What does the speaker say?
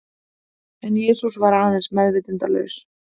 En Jesús var aðeins meðvitundarlaus.